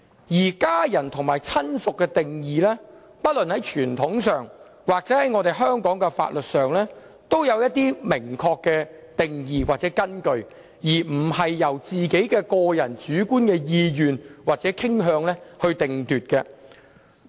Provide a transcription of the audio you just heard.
至於家人或親屬的定義，在傳統和香港法律上均有一些明確的定義或根據，並非由個人主觀意願或傾向界定。